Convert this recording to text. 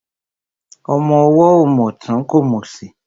Ọmọ ọwọ́ ò mòtún kò mòsì.